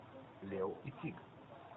лео и тиг